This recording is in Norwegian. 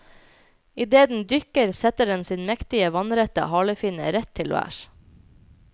Idet den dykker setter den sin mektige, vannrette halefinne rett til værs.